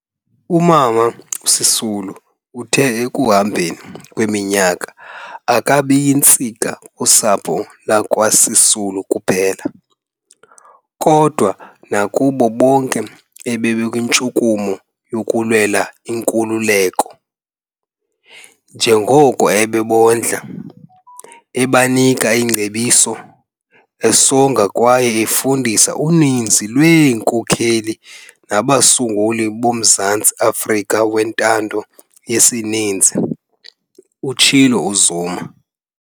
"UMama Sisulu uthe ekuhambeni kweminyaka akabi yintsika kusapho lakwaSisulu kuphela, kodwa nakubo bonke ebebekwintshukumo yokulwela inkululeko, njengokuba ebebondla, ebanika iingcebiso, esonga kwaye efundisa uninzi lweenkokheli nabasunguli boMzantsi Afrika wentando yesininzi", utshilo uZuma.